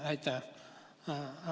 Aitäh!